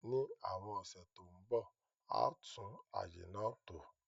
Ní àwon ọ̀sẹ̀ to n bo, a tùn àyè náà tò